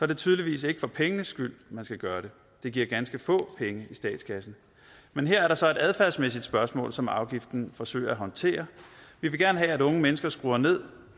det tydeligvis ikke for pengenes skyld man skal gøre det det giver ganske få penge i statskassen men her er der så et adfærdsmæssigt spørgsmål som afgiften forsøger at håndtere vi vil gerne have at unge mennesker skruer ned